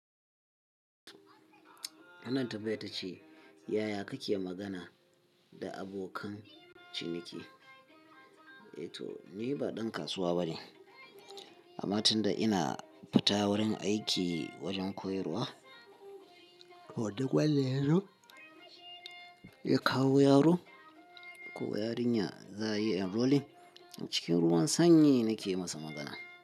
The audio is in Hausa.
Wannan tambayar ta ce, yaya kake magana da abokan ciniki? Eh to, ni ba ɗan kasuwa bane. Amma tun da ina fita wurin aiki wajen koyarwa, ko duk wanda ya kawo yaro ko yarinya za a yi enrollment cikin ruwan sanyi nake masa magana.